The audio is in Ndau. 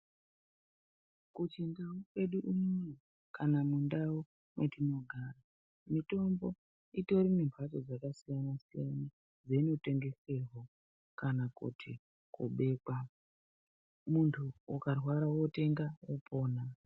Kuchindau kwede unono kana mundau mwatinogara. Mitombo itorine mhatso dzakasiyana-siyana dzeinotengeserwa kana kuti kubekwa, muntu ukarwara yotenga wopona.